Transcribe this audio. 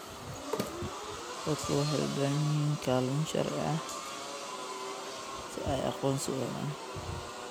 Dadku waxay u baahan yihiin kaalmo sharci si ay aqoonsi u helaan.